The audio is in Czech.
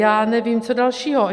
Já nevím co dalšího.